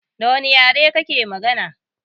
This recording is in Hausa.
Dawane yare kake magana?